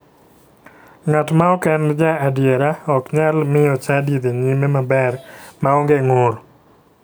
Ng'at ma ok en ja adiera ok nyal miyo chadi dhi nyime maber maonge ng'ur